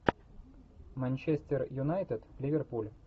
манчестер юнайтед ливерпуль